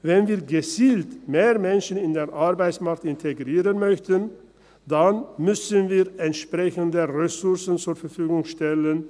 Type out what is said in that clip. Wenn wir gezielt mehr Menschen in den Arbeitsmarkt integrieren möchten, dann müssen wir entsprechende Ressourcen zur Verfügung stellen.